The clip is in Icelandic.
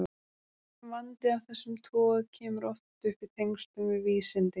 Vandi af þessum toga kemur oft upp í tengslum við vísindi.